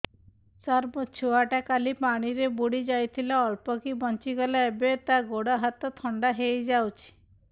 ସାର ମୋ ଛୁଆ ଟା କାଲି ପାଣି ରେ ବୁଡି ଯାଇଥିଲା ଅଳ୍ପ କି ବଞ୍ଚି ଗଲା ଏବେ ତା ଗୋଡ଼ ହାତ ଥଣ୍ଡା ହେଇଯାଉଛି